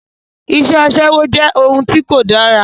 Iṣẹ́ Aṣẹ́wó jẹ́ ohun tí kò dára